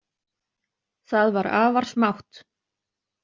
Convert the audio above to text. Það var afar smátt.